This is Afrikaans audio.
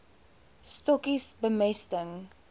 stokkies bemesting